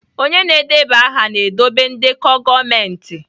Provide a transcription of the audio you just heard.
Onye na-edeba aha na-edobe ndekọ gọọmentị